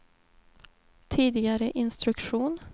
tidigare instruktion